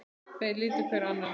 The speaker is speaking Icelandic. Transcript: Þeir litu hver á annan.